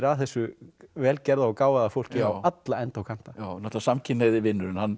að þessu vel gerða og gáfaða fólki á alla enda og kanta náttúrulega samkynhneigði vinurinn hann